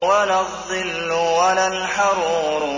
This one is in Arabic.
وَلَا الظِّلُّ وَلَا الْحَرُورُ